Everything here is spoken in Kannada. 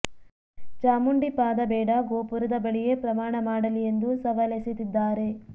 ಚಾಮುಂಡಿ ಪಾದ ಬೇಡ ಗೋಪುರದ ಬಳಿಯೇ ಪ್ರಮಾಣ ಮಾಡಲಿ ಎಂದು ಸವಾಲೆಸೆದಿದ್ದಾರೆ